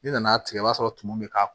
N'i nana tigɛ i b'a sɔrɔ tumu bɛ ka